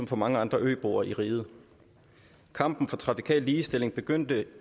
for mange andre øboere i riget kampen for trafikal ligestilling begyndte